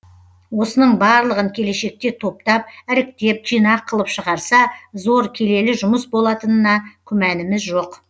осының барлығын келешекте топтап іріктеп жинақ қылып шығарса зор келелі жұмыс болатынына күмәніміз жоқ